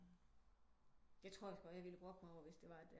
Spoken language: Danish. Jeg tror også godt jeg ville brokke mig over hvis det var